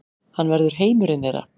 Hann verður heimurinn þeirra.